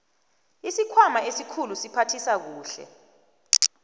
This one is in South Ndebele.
isikhwama esikhulu siphathisa kuhle